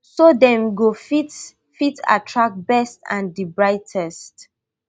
so dem go fit fit attract best and di brightest